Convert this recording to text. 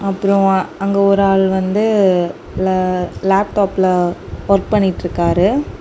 அப்புறம் அங்க ஒரு ஆளு வந்து லேப்டாப்ல ஒர்க் பண்ணிட்டுருக்காரு.